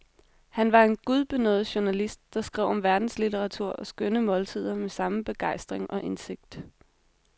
Han var en gudbenådet journalist, der skrev om verdenslitteratur og skønne måltider med samme begejstring og indsigt.